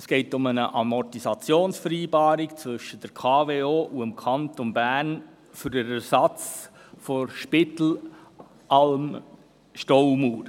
Es geht um eine Amortisationsvereinbarung zwischen der Kraftwerke Oberhasli AG (KWO) und dem Kanton Bern für den Ersatz der Spitallamm Staumauer.